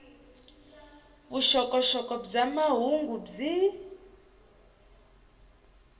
vuxokoxoko bya mahungu byi